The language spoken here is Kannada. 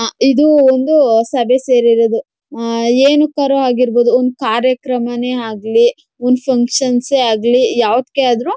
ಅ ಇದು ಒಂದು ಸಭೆ ಸೇರಿರೋದು ಆ ಏನಕ್ಕಾರ ಆಗಿರಬಹುದು ಒಂದು ಕಾರ್ಯಕ್ರಮನೇ ಆಗಲಿ ಒಂದು ಫಂಕ್ಷನ್ಷೇ ಆಗ್ಲಿ ಯಾವ್ದ್ಕೇ ಆದ್ರೂ--